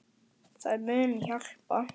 Það muni hjálpa.